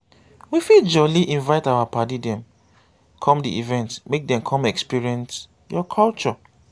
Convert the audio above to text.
we fit jolly invite our paddy dem come di event make dem come experience your culture